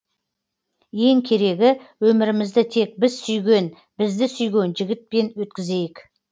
ең керегі өмірімізді тек біз сүйген бізді сүйген жігітпен өткізейік